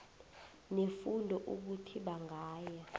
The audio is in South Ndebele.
nefundo ukuthi bangaya